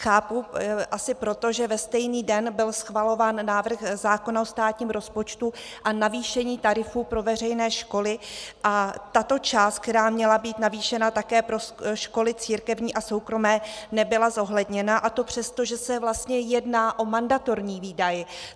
Chápu, asi proto, že ve stejný den byl schvalován návrh zákona o státním rozpočtu a navýšení tarifů pro veřejné školy a tato část, která měla být navýšena také pro školy církevní a soukromé, nebyla zohledněna, a to přesto, že se vlastně jedná o mandatorní výdaj.